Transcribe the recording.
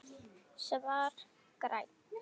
Svar: Grænn